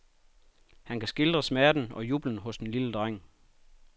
Han kan skildre smerten og jublen hos den lille dreng.